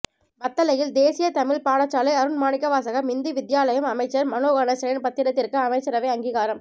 வத்தளையில் தேசிய தமிழ் பாடசாலை அருண் மாணிக்கவாசகம் இந்து வித்தியாலயம் அமைச்சர் மனோ கணேசனின் பத்திரத்திற்கு அமைச்சரவை அங்கீகாரம்